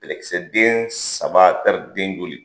Bɛlɛkisɛ den saba tari den joli?